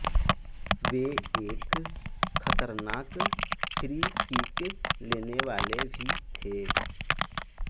वे एक खतरनाक free kick लेने वाले भी थे